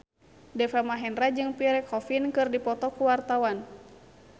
Deva Mahendra jeung Pierre Coffin keur dipoto ku wartawan